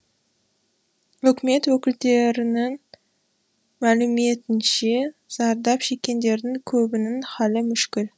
үкімет өкілдерінің мәліметінше зардап шеккендердің көбінің халі мүшкіл